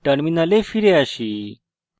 terminal ফিরে আসি